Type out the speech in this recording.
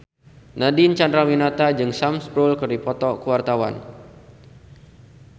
Nadine Chandrawinata jeung Sam Spruell keur dipoto ku wartawan